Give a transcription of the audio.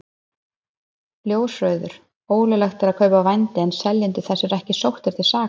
Ljósrauður: Ólöglegt er að kaupa vændi en seljendur þess eru ekki sóttir til saka.